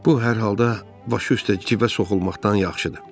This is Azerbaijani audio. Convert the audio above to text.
Bu hər halda başı üstə cüvə soxulmaqdan yaxşıdır.